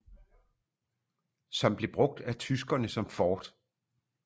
Som blev brugt af tyskerne som fort